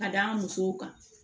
Ka d'an musow kan